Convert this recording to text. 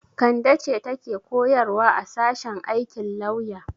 Kande ce take koyarwa a sashen aikin lauya.